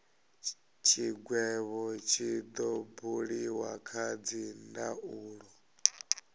tshigwevho tshi do buliwa kha dzindaulo